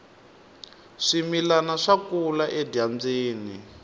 swimilani swa kula edyambyini